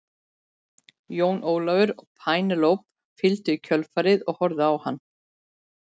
Jón Ólafur og Penélope fylgdu í kjölfarið og horfðu á hann.